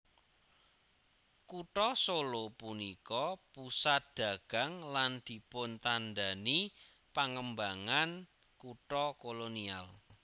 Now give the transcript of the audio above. Kutha Solo punika pusat dagang lan dipuntandhani pangembangan kutha kolonial